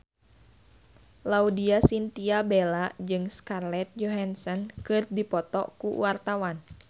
Laudya Chintya Bella jeung Scarlett Johansson keur dipoto ku wartawan